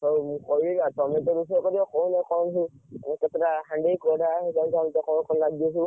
ଆଉ ମୁଁ କହିବି, ଆଉ ତମେ ତ ସବୁ କରିବ କହୁନ, କଣ ସବୁ ମାନେ କେତେ ଟା ହାଣ୍ଡି କଡା ସବୁ କଣ କଣ ଲାଗିବ ସବୁ?